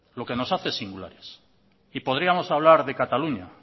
lo que nos hace singulares y podríamos hablar de cataluña